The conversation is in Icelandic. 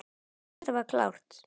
Þetta var klárt.